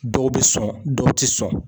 Dɔw bɛ sɔn dɔw tɛ sɔn